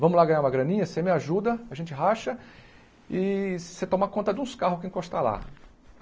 Vamos lá ganhar uma graninha, você me ajuda, a gente racha e você toma conta de uns carros que encostar lá.